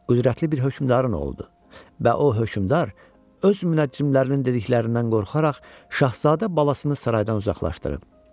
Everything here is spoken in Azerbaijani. Qüdrətli bir hökmdarın oğludur və o hökmdar öz münəccimlərinin dediklərindən qorxaraq şahzadə balasını saraydan uzaqlaşdırıb.